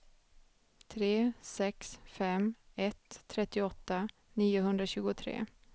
tre sex fem ett trettioåtta niohundratjugotre